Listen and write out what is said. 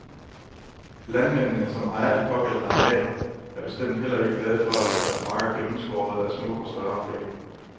Landmændene, som ejer de pågældende arealer, er bestemt heller ikke glade for at få deres marker gennemskåret at små og større bække.